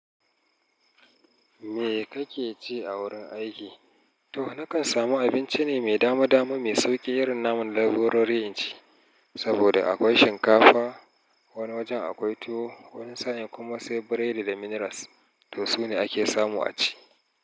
Me kake ci a wurin aiki? To nakan samu abinci ne mai dama dama, mai sauƙi irin namu na leburori inci. Saboda akwai shinkafa, wani wajen akwai tuwo, wani sa'in kuma sai biredi da minerals. To su ne ake samu a ci.